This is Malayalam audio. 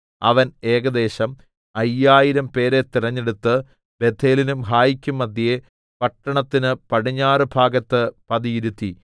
അവൻ ഏകദേശം അയ്യായിരംപേരെ തെരഞ്ഞെടുത്ത് ബേഥേലിനും ഹായിക്കും മദ്ധ്യേ പട്ടണത്തിന് പടിഞ്ഞാറുഭാഗത്ത് പതിയിരുത്തി